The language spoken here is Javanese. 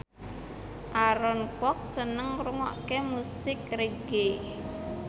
Aaron Kwok seneng ngrungokne musik reggae